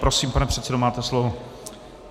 Prosím, pane předsedo, máte slovo.